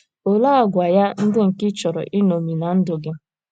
Olee àgwà ya ndị nke ị chọrọ iṅomi ná ndụ gị?